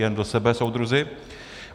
Jen do sebe, soudruzi!